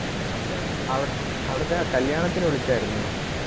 അവി~അവിടുത്തെ ആ കല്യാണത്തിന് വിളിച്ചാരുന്നോ?